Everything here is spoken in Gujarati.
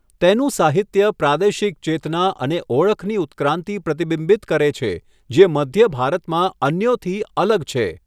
તેનું સાહિત્ય પ્રાદેશિક ચેતના અને ઓળખની ઉત્ક્રાંતિ પ્રતિબિંબિત કરે છે જે મધ્ય ભારતમાં અન્યોથી અલગ છે.